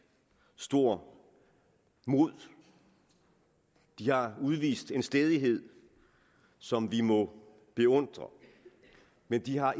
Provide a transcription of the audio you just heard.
stort mod de har udvist en stædighed som vi må beundre men de har